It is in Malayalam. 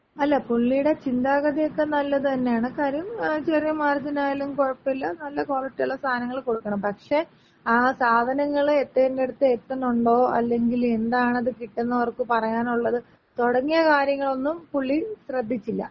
അല്ല പുള്ളിടെ ചിന്താഗതി ഒക്ക നല്ലത് തന്നെയാണ്. കാര്യം ചെറിയ മാർജിൻ ആയാലും കൊഴപ്പല്ല ,നല്ല ക്വാളിറ്റി ഒള്ള സാധനങ്ങള്‍ കൊടുക്കണം. പക്ഷേ ആ സാധനങ്ങള് എത്തേണ്ടടുത്ത് എത്തണുണ്ടോ, അല്ലെങ്കില് എന്താണത് കിട്ടുന്നവർക്ക് പറയാനൊള്ളത്, തൊടങ്ങിയ കാര്യങ്ങളൊന്നും പുള്ളി ശ്രദ്ധിച്ചില്ല.